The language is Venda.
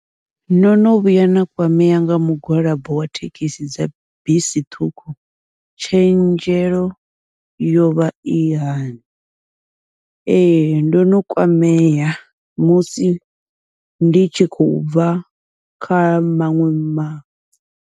No no vhuya na kwamea nga mugwalabo wa thekhisi dza bisi ṱhukhu tshenzhelo yovha i hani, ee ndo no kwamea musi ndi tshi khou bva kha maṅwe ma.